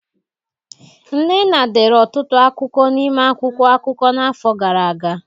Nnenna dere ọtụtụ akụkọ n'ime akwụkwọ akụkọ n'afọ gara aga;